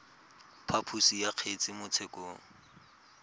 phaposo ya kgetse mo tshekong